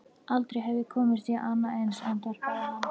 Aldrei hef ég komist í annað eins, andvarpaði hann.